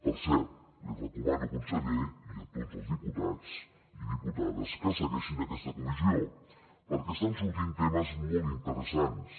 per cert li recomano conseller i a tots els diputats i diputades que segueixin aquesta comissió perquè estan sortint temes molt interessants